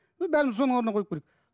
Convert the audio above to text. ы бәріміз соны орнына қойып көрейік